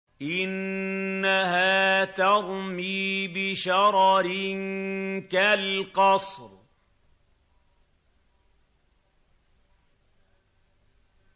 إِنَّهَا تَرْمِي بِشَرَرٍ كَالْقَصْرِ